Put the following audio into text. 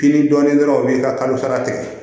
Kini dɔɔnin dɔrɔn u b'i ka kalo sara tigɛ